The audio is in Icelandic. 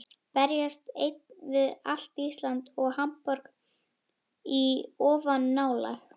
Berjast einn við allt Ísland og Hamborg í ofanálag?